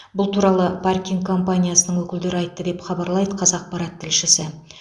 бұл туралы паркинг компаниясының өкілдері айтты деп хабарлайды қазақпарат тілшісі